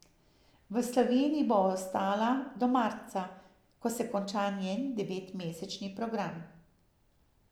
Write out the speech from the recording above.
V Sloveniji bo ostala do marca, ko se konča njen devetmesečni program.